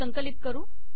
संकलित करू